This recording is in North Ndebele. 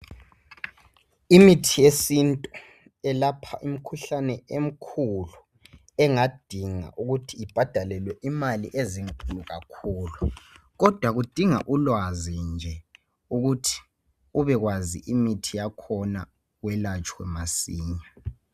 Imithi yesiNtu yelapha imikhuhlane emikhulu engadinga ukuthi ibhadalelwe imali ezinkulu kakhulu kodwa kudinga ulwazi nje ukuthi ubekwazi imithi yakhona welatshwe masinya.